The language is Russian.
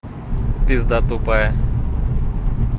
пизда тупая